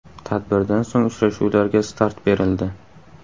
Tadbirdan so‘ng uchrashuvlarga start berildi.